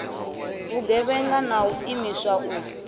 vhugevhenga na u imiswa u